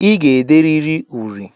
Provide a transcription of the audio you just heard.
I ga-ederịrị uri!